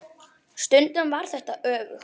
Stundum var þetta öfugt.